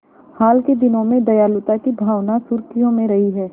हाल के दिनों में दयालुता की भावना सुर्खियों में रही है